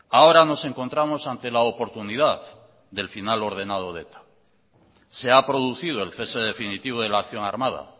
ahora nos encontramos ante la oportunidad del final ordenado de eta se ha producido el cese definitivo de la acción armada